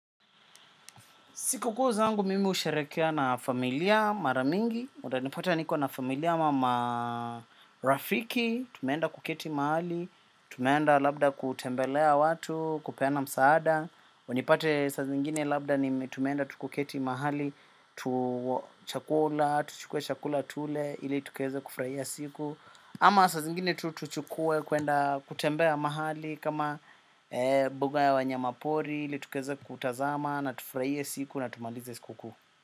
Siku kuu zangu mimi usherekea na familia maramingi. Utanipata niko na familia ama marafiki. Tumeenda kuketi mahali. Tumeenda labda kutembelea watu. Kupeana msaada. Unipate sa zingine labda ni tumenda tukuketi mahali. Chakula. Tuchukue chakula tule. Ile tukueze kufurahia siku. Ama saa zingine tutuchukue kuenda kutembea mahali. Kama buga ya wanyama pori. Ili tukaeze kutazama. Natu furahie siku na tumalize siku kuu.